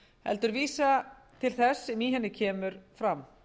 heldur vísa til þess sem í henni kemur fram